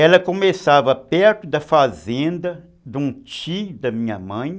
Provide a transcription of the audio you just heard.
Ela começava perto da fazenda de um tio da minha mãe.